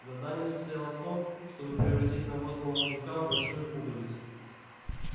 задание состояло в том чтобы превратить навозного жука в большую пуговицу